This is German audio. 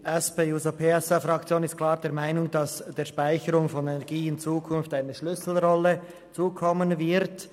Die SP-JUSO-PSA-Fraktion ist klar der Meinung, dass der Speicherung von Energie in Zukunft eine Schlüsselrolle zukommen wird.